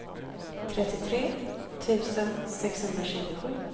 trettiotre tusen sexhundratjugosju